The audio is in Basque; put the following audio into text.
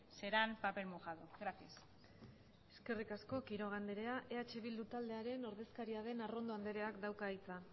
serán papel mojado gracias eskerrik asko quiroga andrea eh bildu taldearen ordezkaria den arrondo andreak dauka hitza